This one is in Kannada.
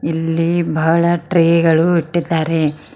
ಇಲ್ಲಿ ಬಹಳ ಟ್ರೇ ಗಳು ಇಟ್ಟಿದ್ದಾರೆ.